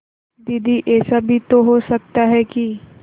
दीदी ऐसा भी तो हो सकता है कि